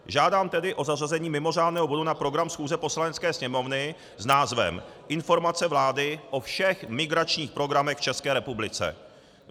Žádám tedy o zařazení mimořádného bodu na program schůze Poslanecké sněmovny s názvem Informace vlády o všech migračních programech v České republice.